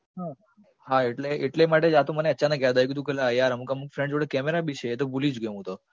હા હા એટલે એટલે માટે આ તો મને અચાનક યાદ આવી ગયું તું કે લા યાર અમુક અમુક friend જોડે camera બી છે એ તો ભૂલી જ ગયો હું તો